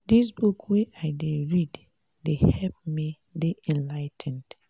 dis book wey i dey read dey help me dey enligh ten ed